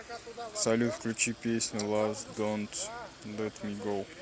салют включи песню лав донт лет ми гоу